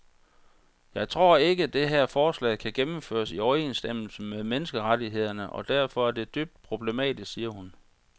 Jeg tror ikke, det her forslag kan gennemføres i overensstemmelse med menneskerettighederne og derfor er det dybt problematisk, siger hun.